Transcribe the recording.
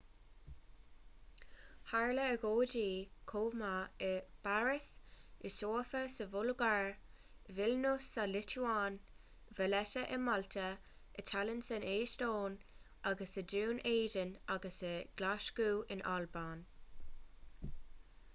tharla agóidí chomh maith i bpáras i sóifia sa bhulgáir i vilnius sa liotuáin i valetta i málta i tallinn san eastóin agus i ndún éideann agus i nglaschú in albain